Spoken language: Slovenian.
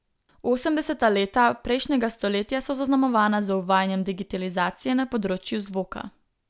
Osemdeseta leta prejšnjega stoletja so zaznamovana z uvajanjem digitalizacije na področju zvoka.